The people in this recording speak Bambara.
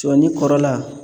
Sɔni kɔrɔla